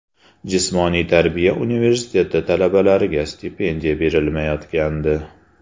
Jismoniy tarbiya universiteti talabalariga stipendiya berilmayotgandi.